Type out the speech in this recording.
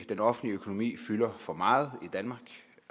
den offentlige økonomi fylder for meget i danmark